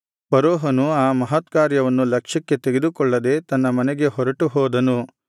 ಫರೋಹನು ಆ ಮಹತ್ಕಾರ್ಯವನ್ನು ಲಕ್ಷ್ಯಕ್ಕೆ ತೆಗೆದುಕೊಳ್ಳದೆ ತನ್ನ ಮನೆಗೆ ಹೊರಟುಹೋದನು